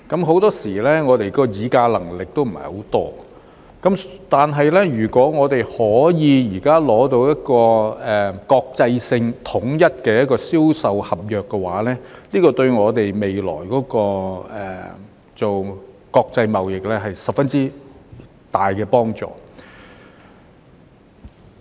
很多時候，我們的議價能力也不是很高，但如果我們現時可以取得一個國際性及統一的銷售公約，對我們未來進行國際貿易有十分大的幫助。